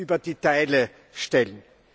über die Teile stellen.